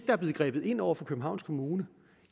er blevet grebet ind over for københavns kommune